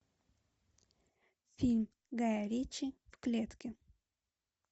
фильм гая ричи в клетке